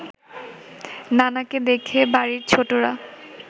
নানাকে দেখে বাড়ির ছোটরা